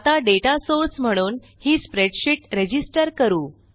आता data source म्हणून ही स्प्रेडशीट रजिस्टर करू